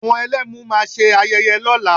Àwọn Ẹlẹ́mu máa ṣe ayẹyẹ lọ́la